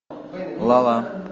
ла ла